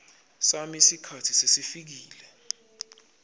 sami sikhatsi sesifikile